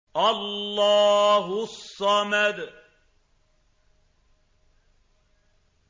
اللَّهُ الصَّمَدُ